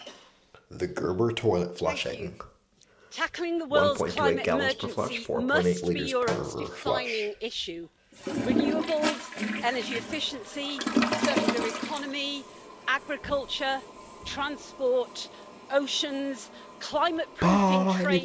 Madam President, tackling the world's climate emergency must be Europe's defining issue renewables, energy efficiency, circular economy, agriculture, transport, oceans, climate proofing trade deals, digitalisation,